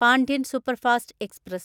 Pandian superfast express